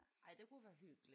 Ja ej det kunne være hyggeligt